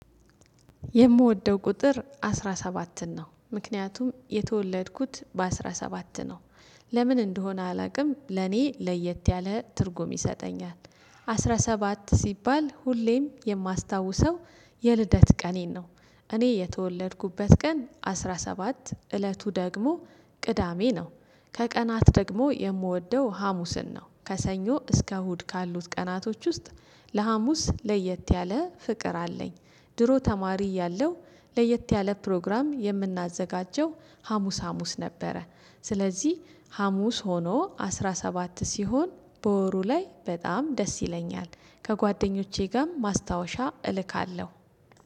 የምወደው ቁጥር አስራ ሰባትን ነው ምክንያቱም የተወለድኩት በአስራ ሰባት ነው። ለምን እንደሆነ አላቅም ለኔ ለየት ያለ ትርጉም ይሰጠኛል። አስራ ሰባት ሲባል ሁሌም የማስታውሰው የልደት ቀኔን ነው። እኔ የተወለድኩበት ቀን አስራ ሰባት እለቱ ደግሞ ቅዳሜ ነው። ከቀናት ደግሞ የምወደው ሀሙስን ነው ከሰኞ እስከ እሁድ ካሉት ቀናቶች ውስጥ ለሀሙስ ለየት ያለ ፍቅር አለኝ። ድሮ ተማሪ እያለው ለየት ያለ ፕሮግራም የምናዘጋጀው ሀሙስ ሀሙስ ነበረ። ስለዚህ ሀሙስ ሆኖ አስራ ሰባት ሲሆን በወሩ ላይ በጣም ደስ ይለኛል። ከጓደኞቼ ጋም ማስታወሻ እልካለሁ።